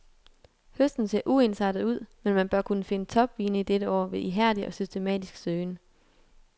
Høsten ser uensartet ud, men man bør kunne finde topvine i dette år ved ihærdig og systematisk søgen.